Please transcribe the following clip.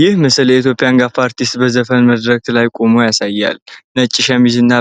ይህ ምስል የኢትዮጵያ አንጋፋ አርቲስት በዘፈን መድረክ ላይ ቆሞ ያሳያል። ነጭ ሸሚዝ እና